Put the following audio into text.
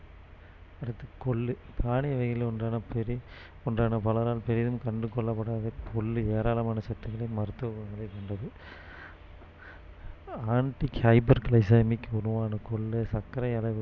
அடுத்து கொள்ளு தானிய வகைகளில் ஒன்றான பெரி~ ஒன்றான பலரால் பெரிதும் கண்டுகொள்ளப்படாத கொள்ளு ஏராளமான சத்துக்களையும் மருத்துவ குணங்களையும் கொண்டது anti-hyperglycemic உணவான கொள்ளு சர்க்கரை அளவு